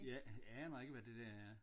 Jeg aner ikke hvad det der er